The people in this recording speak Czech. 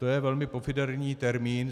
To je velmi pofidérní termín.